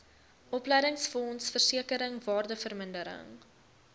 opleidingsfonds versekering waardevermindering